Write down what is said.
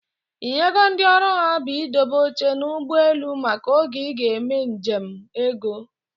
Ị nyego ndị ọrụ ha bụ i dobe oche n'ụgbọelu maka oge ị ga-eme nje m ego?